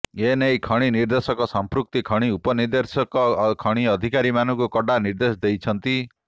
ଏ ନେଇ ଖଣି ନିର୍ଦେଶକ ସଂପୃକ୍ତ ଖଣି ଉପନିର୍ଦେଶକ ଖଣି ଅଧିକାରୀମାନଙ୍କୁ କଡ଼ା ନିର୍ଦେଶ ଦେଇଛନ୍ତିି